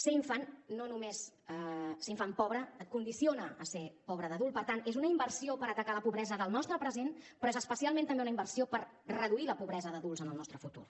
ser infant pobre et condiciona a ser pobre d’adult per tant és una inversió per atacar la pobresa del nostre present però és especialment també una inversió per reduir la pobresa d’adults en el nostre futur